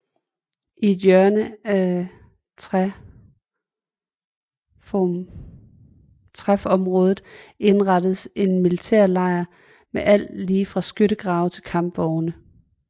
I et hjørne af træfområde indrettes en militærlejr med alt lige fra skyttegrave til kampvogne